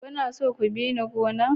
Kuna so ku bi ni gona?